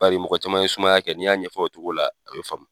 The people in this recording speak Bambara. Bari mɔgɔ caman ye sumaya kɛ n'i y'a ɲɛfɔ o cogo la a bi faamuya